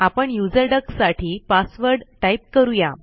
आपण user duck साठी password type करूया